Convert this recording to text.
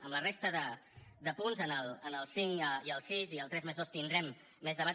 amb la resta de punts en el cinc i el sis i el tres+dos tindrem més debat